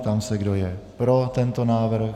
Ptám se, kdo je pro tento návrh.